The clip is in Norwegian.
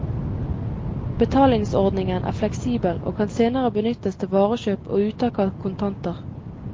Betalingsordningen er fleksibel og kan senere benyttes til varekjøp og uttak av kontanter.